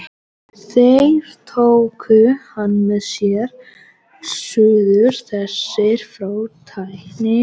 Þeir tóku hann með sér suður, þessir frá tækni